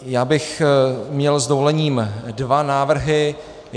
Já bych měl s dovolením dva návrhy.